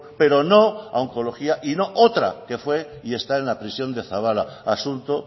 pero no a oncología y no otra que fue y está en la prisión de zaballa asunto